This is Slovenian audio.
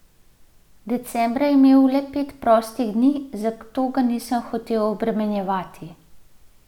Decembra je imel le pet prostih dni, zato ga nisem hotel obremenjevati.